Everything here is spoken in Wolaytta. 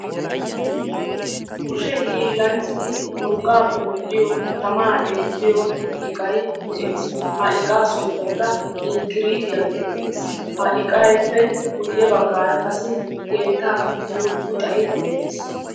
Kushe hiillanchchati urqqaappe medhdhiyo tamaa eettiyo iqay de'ees. Ha iqaa sunttaykka inkkiriitiya geetettees. Ha iqaappe guyye baggaara qassi keettaa pittiyo puxay dees.